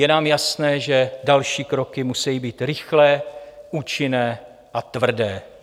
Je nám jasné, že další kroky musejí být rychlé, účinné a tvrdé.